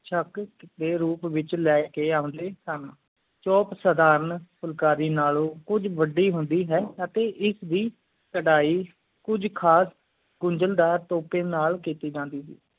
ਸ਼ਕ਼ ਡੇ ਰੂਪ ਵਿਚ ਲਈ ਕ ਊਂ ਲਈ ਸਨ ਚੋਪ ਸੁਧਾਰਾਂ ਫੁਲਕਾਰੀ ਨਾਲੋਂ ਕੁਛ ਵੱਡੀ ਹੁੰਦੀ ਹੈ ਤੇ ਇਸ ਦੀ ਕਰਹਿ ਕੁਛ ਖਾਸ ਗੁੰਦਾਂ ਦਾਲ ਟੋਪੀ ਨਾਲ ਕੀਤੀ ਜਾਂਦੀ ਸੀ